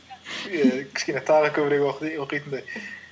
кішкене тағы көбірек оқитындай